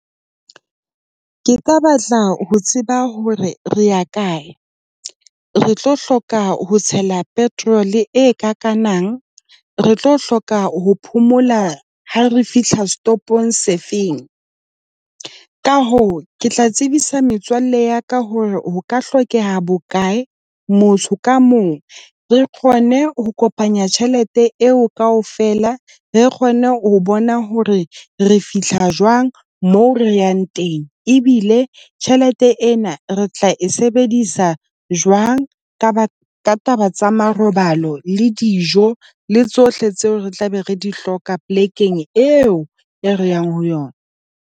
Ke ka batla ho tseba hore re ya kae, re tlo hloka ho tshela petrol e kakang . Re tlo hloka ho phomola ha re fihla setopong se feng, ka hoo ke tla tsebisa metswalle ya ka hore ho ka hlokeha bokae motho ka mong. Re kgone ho kopanya tjhelete eo, kaofela re kgone ho bona hore re fihla jwang moo re yang teng ebile tjhelete ena re tla e sebedisa jwang Kaba ka taba tsa marobalo le dijo le tsohle tseo re tlabe re di hloka polekeng eo e re yang ho yona.